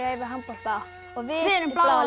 æfi handbolta við erum bláa